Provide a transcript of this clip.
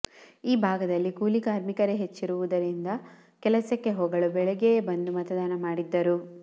ಈ ಭಾಗದಲ್ಲಿ ಕೂಲಿಕಾರ್ಮಿಕರೇ ಹೆಚ್ಚಿರುವುದರಿಂದ ಕೆಲಸಕ್ಕೆ ಹೋಗಲು ಬೆಳಿಗ್ಗೆಯೇ ಬಂದು ಮತದಾನ ಮಾಡಿದ್ದರು